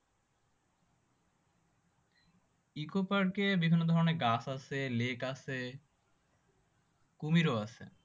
eco পার্কে বিভিন্ন ধরণের গাছ আছে lake আছে কুমিরও আছে